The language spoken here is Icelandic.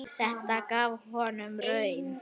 Þetta gaf góða raun.